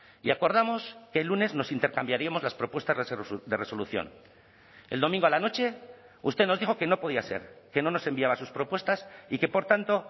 y acordamos que el lunes nos intercambiaríamos las propuestas de resolución el domingo a la noche usted nos dijo que no podía ser que no nos enviaba sus propuestas y que por tanto